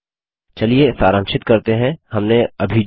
चलिए सारांशित करते हैं हमने अभी जो कहा